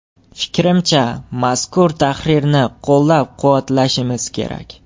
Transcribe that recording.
Fikrimcha, mazkur tahrirni qo‘llab-quvvatlashimiz kerak.